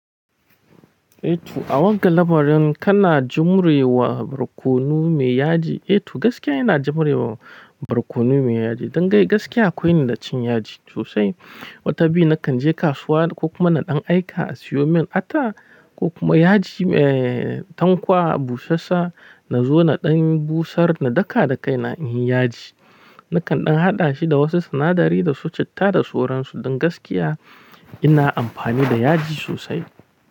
Eh to, a wanga labarin kana jumre wa barkono me yaji. Eh to gaskiya ina jumre wa barkono me yaji. Don ga gaskiya akwai ni da cin yaji sosai. Wata biyu na kan je kasuwa ko kuma na ɗan aika a siyo min ata ko kuma yaji, eh, tankwa, busassaa na zo na ɗan busar na daka da kai na in yi yaji. Na kan ɗan haɗa shi da wasu sinadari da su citta da soran su. Don gaskiya ina amfani da yaji sosai.